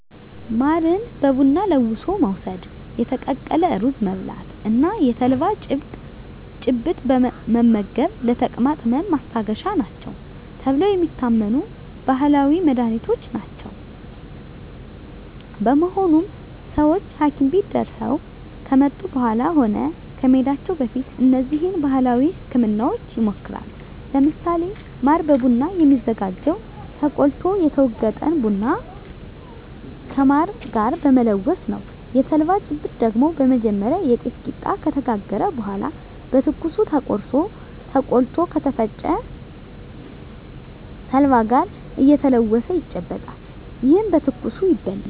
ማርን በቡና ለውሶ መውስድ፣ የተቀቀለ ሩዝ መብላት እና የተልባ ጭብጥ መመገብ ለተቅማጥ ህመም ማስታገሻ ናቸው ተብለው የሚታመኑ ባህላዊ መድሀኒቶች ናቸው። በመሆኑም ሰወች ሀኪም ቤት ደርሰው ከመጡ በኃላም ሆነ ከመሄዳቸው በፊት እነዚህን ባህላዊ ህክምናወች ይሞክራሉ። ለምሳሌ ማር በቡና የሚዘጋጀው ተቆልቶ የተወገጠን ቡና ከማር ጋር በመለወስ ነው። የተልባ ጭብጥ ደግሞ በመጀመሪያ የጤፍ ቂጣ ከተጋገረ በኃላ በትኩሱ ቆርሶ ተቆልቶ ከተፈጨ ተልባ ጋር እየተለወሰ ይጨበጣል። ይህም በትኩሱ ይበላል።